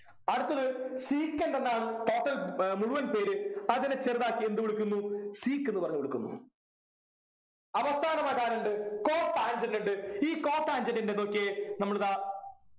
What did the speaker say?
അടുത്തത് secant എന്നാണ് total ഏർ മുഴുവൻ പേര് അതിനെ ചെറുതാക്കി എന്തു വിളിക്കുന്നു sec ന്നു പറഞ്ഞു വിളിക്കുന്നു അവസാനമായിട്ടാരുണ്ട് cotangent ണ്ടു ഈ cotangent ൻ്റെ നോക്കിയേ നമ്മളിതാ